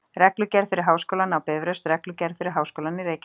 Reglugerð fyrir Háskólann á Bifröst Reglugerð fyrir Háskólann í Reykjavík.